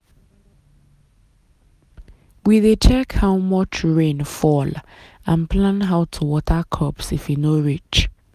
we dey check how much rain fall and plan how to water crops if e no reach.